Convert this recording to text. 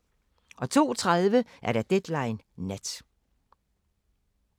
02:30: Deadline Nat